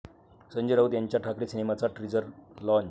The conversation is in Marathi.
संजय राऊत यांच्या 'ठाकरे' सिनेमाचा टीझर लाँच